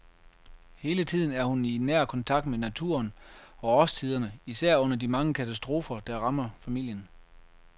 Hele tiden er hun i nær kontakt med naturen og årstiderne, især under de mange katastrofer, der rammer familien.